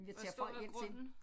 Og hvor stor er grunden